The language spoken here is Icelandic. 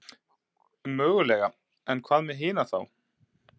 Mögulega en hvað með hina þá?